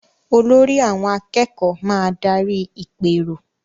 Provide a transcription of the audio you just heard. Olórí àwọn akẹ́kọ̀ọ́ máa darí ìpérò